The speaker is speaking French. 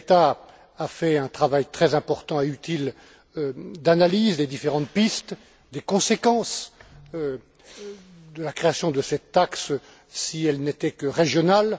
Šemeta a fait un travail très important et utile d'analyse des différentes pistes, des conséquences de la création de cette taxe si elle n'était que régionale.